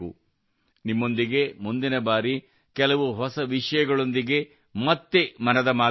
ನಿಮ್ಮೊಂದಿಗೆ ಮುಂದಿನ ಬಾರಿ ಕೆಲವು ಹೊಸ ವಿಷಯಗಳೊಂದಿಗೆ ಮತ್ತೆ ಮನದ ಮಾತು ಆಡುತ್ತೇನೆ